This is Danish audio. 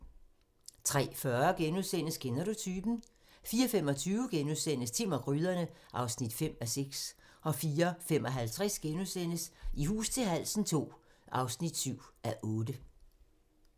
03:40: Kender du typen? * 04:25: Timm og gryderne (5:6)* 04:55: I hus til halsen II (7:8)*